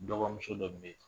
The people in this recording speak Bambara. Dɔgɔmuso dɔ bɛ yen